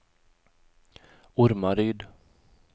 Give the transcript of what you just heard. Ormaryd